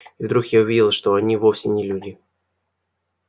и вдруг я увидел что они вовсе не люди